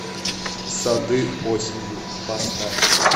сады осенью поставь